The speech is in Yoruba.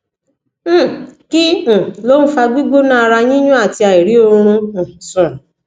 um kí um ló ń fa gbigbona ara yiyun àti airi oorun um sun